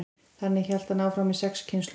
þannig hélt hann áfram í sex kynslóðir